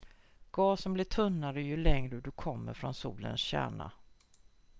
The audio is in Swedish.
gasen blir tunnare ju längre du kommer från solens kärna